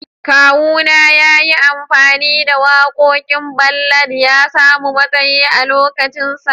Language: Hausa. Kawuna ya yi amfani da wakokin ballad ya samu mataye a'lokacin sa.